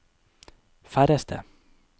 færreste